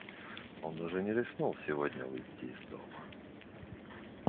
он даже не рискнул сегодня выйти из дома